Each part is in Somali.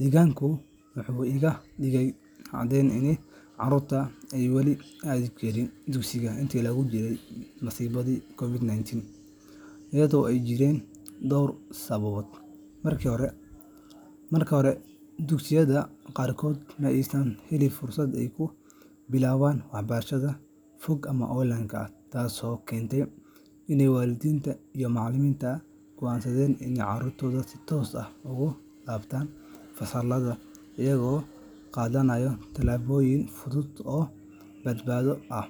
Deegaankaygu wuxuu iiga dhigay caddayn in carruurtu ay weli aadi jireen dugsiga intii lagu jiray masiibadii COVID-19 iyada oo ay jireen dhowr sababood. Marka hore, dugsiyada qaarkood ma aysan helin fursad ay ku bilaabaan waxbarashada fog ama online ah, taasoo keentay in waalidiinta iyo macallimiintu go’aansadaan in carruurtu si toos ah ugu laabtaan fasallada, iyagoo qaadaya tallaabooyin fudud oo badbaado ah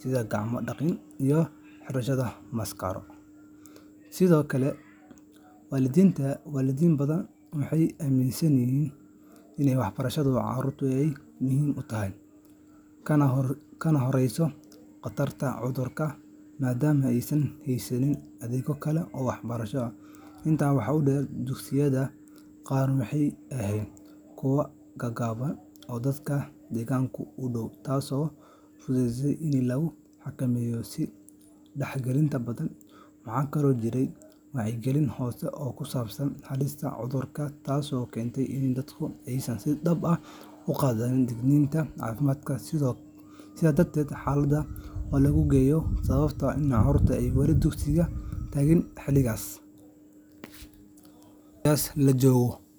sida gacmo dhaqid iyo xirashada maaskaro. Sidoo kale, waalidiin badan waxay aaminsanaayeen in waxbarashada carruurtu ay aad muhiim u tahay, kana horreyso khatarta cudurka, maadaama aysan haysan adeegyo kale oo waxbarasho. Intaa waxaa dheer, dugsiyada qaar waxay ahaayeen kuwo gaagaaban oo dadka deegaanka u dhow, taasoo fududaysay in la xakameeyo is dhexgalka badan. Waxaa kaloo jiray wacyigelin hoose oo ku saabsan halista cudurka, taasoo keentay in dadku aysan si dhab ah u qaadan digniinaha caafimaad. Sidaas darteed, xaaladahaas oo la isku geeyo waxay sababtay in carruurtu ay weli dugsiyada tagaan xilligaas. xiligaas la joogo.